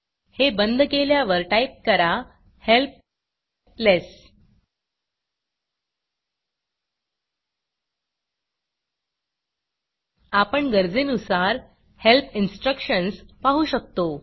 हे बंद केल्यावर टाईप करा हेल्प लेस हेल्प लेस्स आपण गरजेनुसार हेल्प इन्स्ट्रक्शन्स पाहू शकतो